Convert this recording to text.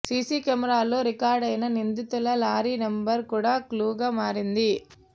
CC కెమెరాల్లో రికార్డయిన నిందితుల లారీ నంబరు కూడా క్లూగా మారింది